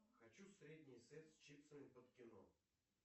хочу средний сет с чипсами под кино